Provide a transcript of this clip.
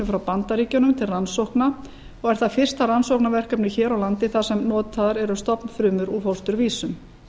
frá bandaríkjunum til rannsókna og er það fyrsta rannsóknarverkefnið hér á landi þar sem notaðar eru stofnfrumur úr fósturvísum